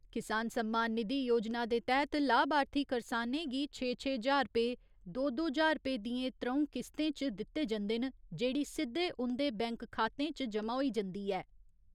किसान सम्मान निधि योजना दे तैह्‌त लाभार्थी करसानें गी छे छे ज्हार रपे, दो दो ज्हार रपे दियें त्र'ऊं किस्तें च दित्ते जंदे न जेह्ड़ी सिद्दे उंदे बैंक खातें च जमा होई जंदी ऐ।